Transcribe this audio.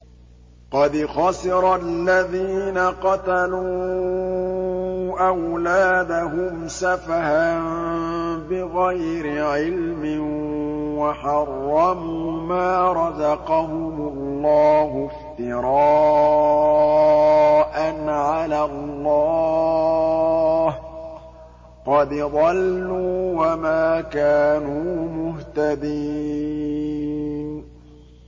قَدْ خَسِرَ الَّذِينَ قَتَلُوا أَوْلَادَهُمْ سَفَهًا بِغَيْرِ عِلْمٍ وَحَرَّمُوا مَا رَزَقَهُمُ اللَّهُ افْتِرَاءً عَلَى اللَّهِ ۚ قَدْ ضَلُّوا وَمَا كَانُوا مُهْتَدِينَ